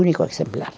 Único exemplar.